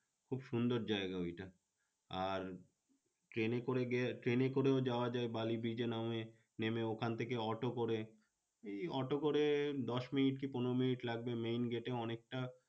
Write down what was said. খুব সুন্দর জায়গা ওইটা আর train করে গিয়ে train করেও যাওয়া যায় বালি bridge নামে নেমে ওখান থেকে অটো করে এই অটো করে দশ মিনিট কি পনেরো মিনিট লাগবে main gate এ অনেকটা